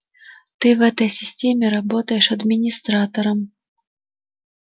ты в этой системе работаешь администратором